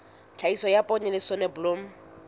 tlhahiso ya poone le soneblomo